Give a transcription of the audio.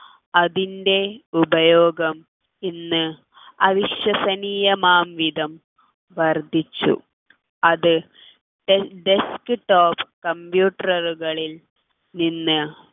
അതിൻ്റെ ഉപയോഗം ഇന്ന് അവിശ്വസനീയമാവുംവിധം വർദ്ധിച്ചു അത് desktop computer കളിൽ നിന്ന്